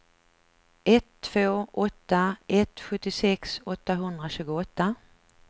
ett två åtta ett sjuttiosex åttahundratjugoåtta